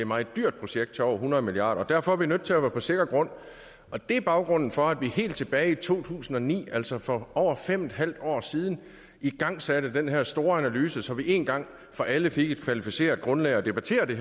meget dyrt projekt til over hundrede milliard kroner derfor er vi nødt til at være på sikker grund og det er baggrunden for at vi helt tilbage i to tusind og ni altså for over fem en halv år siden igangsatte den her store analyse så vi en gang for alle fik et kvalificeret grundlag at debattere det